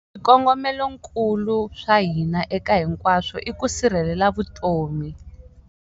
Swikongomelonkulu swa hina eka hinkwaswo i ku sirhelela vutomi.